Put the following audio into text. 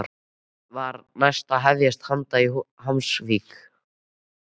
Þá var næst að hefjast handa í Hvammsvík.